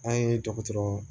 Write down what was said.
An ye dɔgɔtɔrɔ